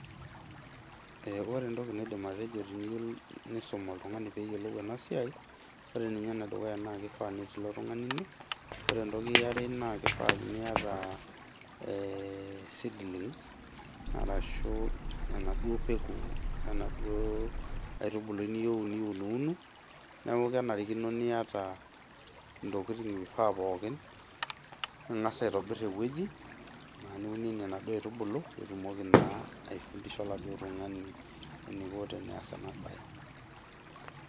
Ee ore entoki naidim atejo teniyieu nisum oltungani peyiolou ena siai Ore ninye ene dukuya naa kifaa peeti ilo tungani ine, ore entoki aere naa kifaa niata seedlings arashu enaduo peku enaduoo aitubului niyieuu niununu . Niaku kenarikino niata ntokitin naifaa poookin ,ingas aitobir ewueji aa niunienie inaduo aitubulu , nitumoki naa aifundisha oladuoo tungani eneiko teneas ena bae.